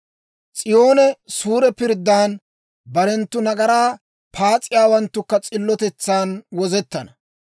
S'iyoonee suure pirddan, barenttu nagaraa paas'iyaawanttukka s'illotetsan wozettana.